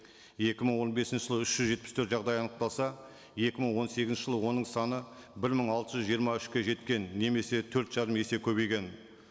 екі мың он бесінші жылы үш жүз жетпіс төрт жағдай анықталса екі мың он сегізінші жылы оның саны бір мың алты жүз жиырма үшке жеткен немесе төрт жарым есе көбейген